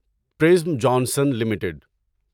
prism Johnson limited